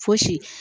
Fosi